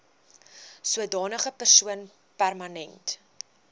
sodanige persoon permanent